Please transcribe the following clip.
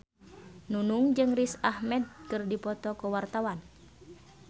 Nunung jeung Riz Ahmed keur dipoto ku wartawan